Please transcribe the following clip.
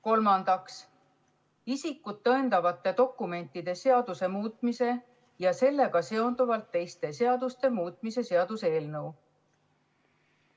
Kolmandaks, isikut tõendavate dokumentide seaduse muutmise ja sellega seonduvalt teiste seaduste muutmise seaduse eelnõu.